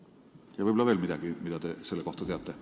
Võib-olla on veel midagi, mis te selle kohta teate.